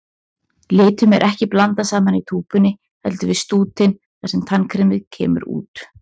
Litunum er ekki blandað saman í túpunni, heldur við stútinn þar sem tannkremið kemur út.